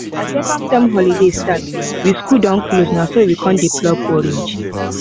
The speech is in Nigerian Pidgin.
as second term holiday start wey school don close na so we con dey pluck orange